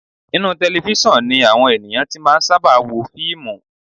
Inú tẹlefísọ̀n ni àwọn ènìyàn ti máa ń sábà wo fíìmù